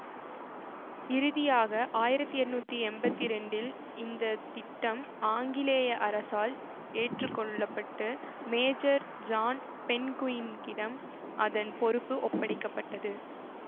இறுதியாக ஆயிரத்தி எண்ணூத்தி எம்பத்தி இரண்டில் இந்த திட்டம் ஆங்கிலேய அரசால் ஏற்றுக்கொள்ள பட்டு மேஜர் ஜான் பென்குயின்க்கிடம் அதன் பொறுப்பு ஒப்படைக்க பட்டது